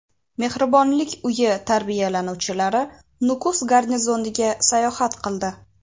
Mehribonlik uyi tarbiyalanuvchilari Nukus garnizoniga sayohat qildi.